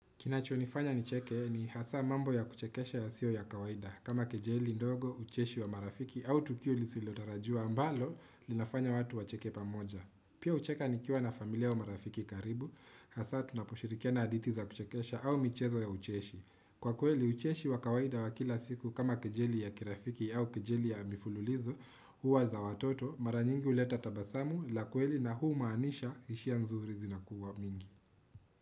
Kinachonifanya nicheke ni hasaa mambo ya kuchekesha yasiyo ya kawaida kama kejeli ndogo, ucheshi wa marafiki au tukio lisilotarajiwa ambalo linafanya watu wacheke pamoja. Pia hucheka nikiwa na familia wa marafiki karibu hasaa tunaposhirikiana hadithi za kuchekesha au michezo ya ucheshi. Kwa kweli ucheshi wa kawaida wa kila siku kama kejeli ya kirafiki au kejeli ya mifululizo huwa za watoto mara nyingi huleta tabasamu la kweli na huu umaanisha hisia nzuri zinakuwa mingi.